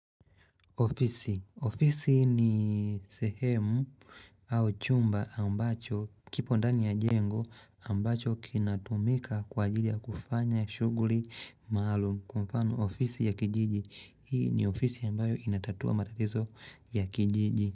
Ofisi ni sehemu au chumba ambacho kipo ndani ya jengo ambacho kinatumika kwa ajili ya kufanya shuguri maalum kwa mfano ofisi ya kijiji. Hii ni ofisi ambayo inatatua matatizo ya kijiji.